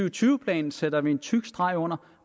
og tyve planen sætter vi en tyk streg under